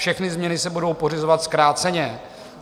Všechny změny se budou pořizovat zkráceně.